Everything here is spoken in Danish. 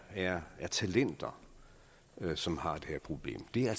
er talenter som har det her problem det er